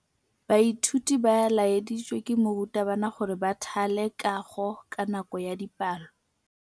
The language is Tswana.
Baithuti ba laeditswe ke morutabana gore ba thale kagô ka nako ya dipalô.